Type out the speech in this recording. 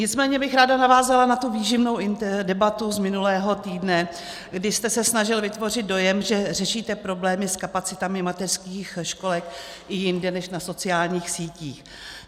Nicméně bych ráda navázala na tu výživnou debatu z minulého týdne, kdy jste se snažil vytvořit dojem, že řešíte problémy s kapacitami mateřských školek i jinde než na sociálních sítí.